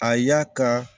A y'a kan